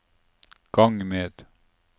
gang med